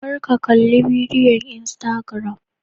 kar ka Kalli bidiyon Instagram